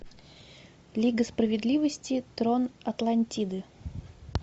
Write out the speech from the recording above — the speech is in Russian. лига справедливости трон атлантиды